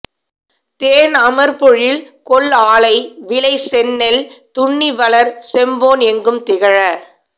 தேன்அமர் பொழில்கொள் ஆலை விளை செந்நெல் துன்னி வளர் செம்பொன் எங்கும் திகழ